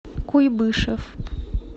куйбышев